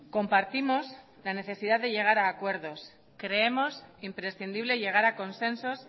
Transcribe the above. compartimos la necesidad de llegar a acuerdos creemos imprescindible llegar a consensos